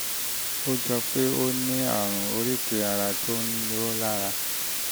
ó jọ pé ó ní ó ní àrùn oríkèé ara tó ń roni lára